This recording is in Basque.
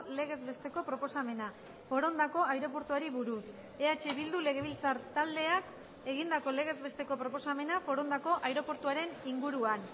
legez besteko proposamena forondako aireportuari buruz eh bildu legebiltzar taldeak egindako legez besteko proposamena forondako aireportuaren inguruan